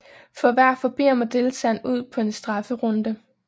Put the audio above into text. For hver forbier må deltageren ud på en strafferunde